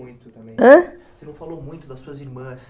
Ãh? Você não falou muito das suas irmãs.